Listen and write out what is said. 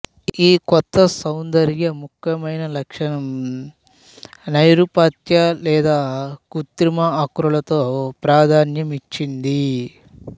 ఈ కొత్త సౌందర్య ముఖ్యమైన లక్షణం నైరూప్యత లేదా కృత్రిమ ఆకృతులకు ప్రాధాన్యం ఇచ్చింది